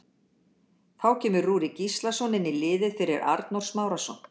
Þá kemur Rúrik Gíslason inn í liðið fyrir Arnór Smárason.